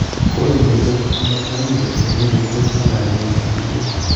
Kole inendet ogot ndami jesu nguni kotos malonye inendet sigiriet.